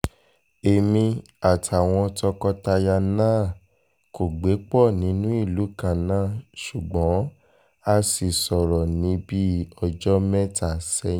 èmi àtàwọn tọkọtaya náà kò gbé pọ̀ nínú ìlú kan náà ṣùgbọ́n a sì sọ̀rọ̀ ní bíi ọjọ́ mẹ́ta sẹ́yìn